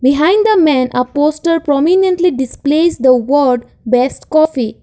behind the man a poster permanently displays the word best coffee.